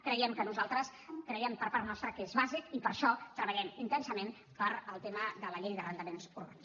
creiem per part nostra que és bàsic i per això treballem intensament pel tema de la llei d’arrendaments urbans